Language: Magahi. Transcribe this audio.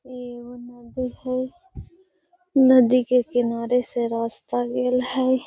इ एगो नदी हेय नदी के किनारे से रास्ता गेल हेय।